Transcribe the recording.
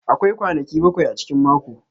Akwai kwanaki bakwai a cikin mako.